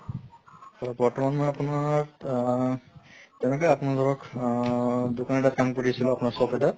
বৰ্তমান মই আপোনাৰ আহ তেনেকে আপুনি ধৰক আহ দোকান এটাত কাম কৰি আছিলোঁ আপোনাৰ shop এটাত